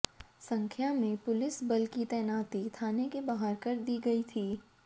संख्या में पुलिस बल की तैनाती थाने के बाहर कर दी गई थी